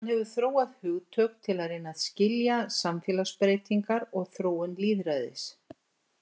Hann hefur þróað hugtök til að reyna að skilja samfélagsbreytingar og þróun lýðræðis.